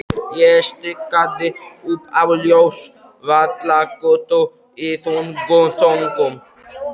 Ég stikaði upp á Ljósvallagötu í þungum þönkum.